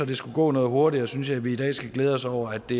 det skulle gå noget hurtigere synes jeg at vi i dag skal glæde os over at det